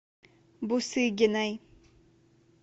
бусыгиной